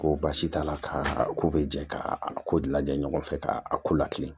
Ko baasi t'a la ka ko bɛ jɛ k'a ko lajɛ ɲɔgɔn fɛ ka a ko lakilen